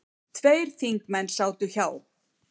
Tveir þingmenn sátu hjá.